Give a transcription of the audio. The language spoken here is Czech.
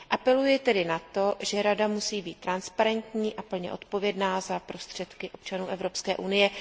Apeluji tedy na to, že Rada musí být transparentní a plně odpovědná za prostředky občanů Evropské unie.